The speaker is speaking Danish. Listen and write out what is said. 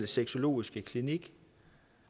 sexologiske klinik